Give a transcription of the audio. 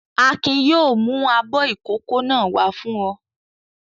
Akin yóò mú abọ́ ìkókó náà wá fún ọ!